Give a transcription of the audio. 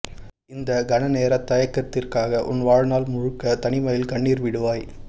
இந்த கணநேரத் தயக்கத்திற்காக உன் வாழ்நாள் முழுக்க தனிமையில் கண்ணீர் விடுவாய்